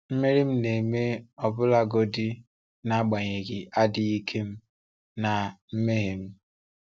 Mmeri m na-eme ọbụlagodi n’agbanyeghị adịghị ike m na mmehie m.